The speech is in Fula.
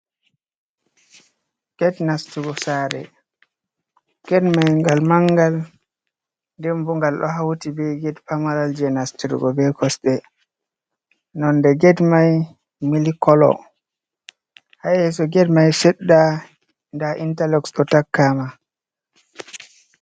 Get nastugo sare. Get mai ngal mangal nden bo ngal ɗo hauti be Get pamaral je nastirgo be kosɗe nonde Get mai milik kolo ha yeso Get mai sedda nda intaluxs ɗo takkaama.